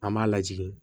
An b'a lajigin